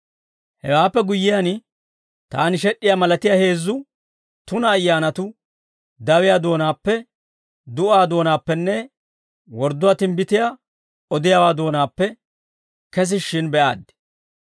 Hewaappe guyyiyaan, taani sheed'd'iyaa malatiyaa heezzu tuna ayyaanatuu dawiyaa doonaappe, du'aa doonaappenne wordduwaa timbbitiyaa odiyaawaa doonaappe kesishshin be'aaddi.